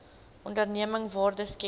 onderneming waarde skep